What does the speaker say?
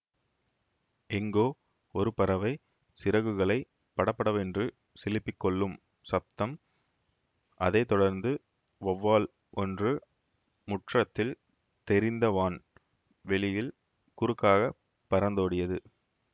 எங்கோ ஒரு பறவை சிறகுகளைப் படபடவென்று சிலுப்பிக் கொள்ளும் சப்தம் அதை தொடர்ந்து வௌவால் ஒன்று முற்றத்தில் தெரிந்த வான் வெளியில் குறுக்காகப் பறந்தோடியது